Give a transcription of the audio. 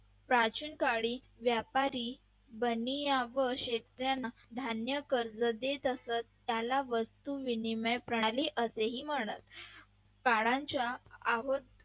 प्राचीन गाडी व्यापारी बनिया व शेतकऱ्यांना धान्य कर्ज देत असत त्याला वस्तू विनिमय प्रणाली असेही म्हणत काळाच्या ओघात